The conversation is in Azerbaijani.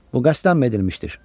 Bu qəsdənmi edilmişdir?